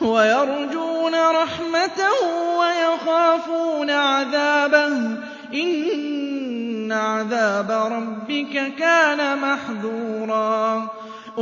وَيَرْجُونَ رَحْمَتَهُ وَيَخَافُونَ عَذَابَهُ ۚ إِنَّ عَذَابَ رَبِّكَ كَانَ مَحْذُورًا